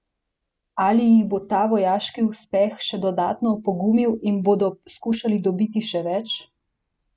Ali jih bo ta vojaški uspeh še dodatno opogumil in bodo skušali dobiti še več?